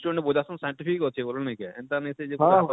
ଯେନ ମାନେ ବଜାସନ scientific ଅଛେ ବଳ ନେଇ କାଏଁ ଏନତା ନେଇ ସେ ଯେ ପୁରା